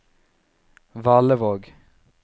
Valevåg